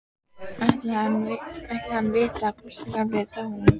Ætli hann viti að Gústi gamli er dáinn?